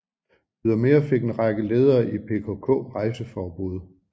Ydermere fik en række ledere i PKK rejseforbud